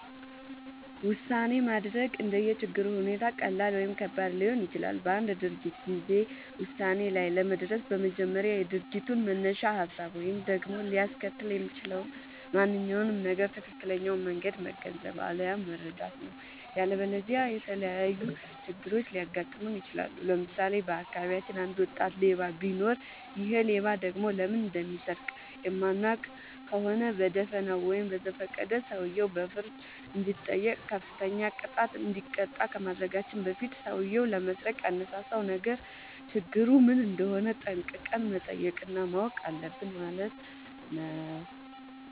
ውሳኔ ማድረግ እንደየ ችግሩ ሁኔታ ቀላል ወይም ከባድ ሊሆን ይችላል። በአንድ ድርጊት ጊዜ ውሳኔ ላይ ለመድረስ በመጀመሪያ የድርጊቱን መነሻ ሀሳብ ወይም ደግሞ ሊያስከትል የሚችለውን ማንኛውም ነገር ትክክለኛውን መንገድ መገንዘብ፣ አለያም መረዳት ነው።. ያለበለዚያ የተለያዩ ችግሮች ሊያጋጥሙን ይችላሉ። ለምሳሌ:- በአካባቢያችን አንድ ወጣት ሌባ ቢኖር ይሔ ሌባ ደግሞ ለምን እንደሚሰርቅ የማናውቅ ከሆነ በደፋናው ወይም በዘፈቀደ ሰውየው በፍርድ እንዲጠይቅ፤ ከፍተኛ ቅጣት እንዲቀጣ ከማድረጋችን በፊት ሠውዬው ለመስረቅ ያነሳሳውን ነገር ችግሩ ምን እንደሆነ ጠንቅቀን መጠየቅ እና ማወቅ አለብን ማለት ነው።